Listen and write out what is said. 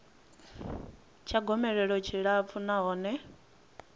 tsha gomelelo tshi tshilapfu nahone